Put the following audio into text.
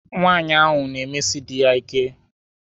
Nwanyị ahụ na-emesi di ya ike.